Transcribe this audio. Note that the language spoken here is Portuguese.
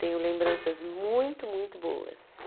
Tenho lembranças muito, muito boas.